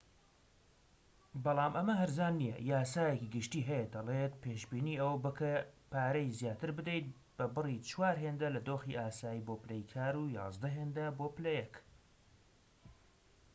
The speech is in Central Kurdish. بەڵام ئەمە هەرزان نیە یاسایەکی گشتی هەیە دەڵێت پێشبینی ئەوە بکە پارەی زیاتر بدەیت بە بڕی چوار هێندە لە دۆخی ئاسایی بۆ پلەی کار و یازدە هێندە بۆ پلە یەك